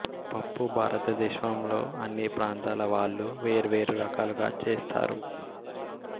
పప్పు భారతదేశంలో అన్ని ప్రాంతాల వాళ్ళూ వేర్వేరు రకాలుగా చేస్తారు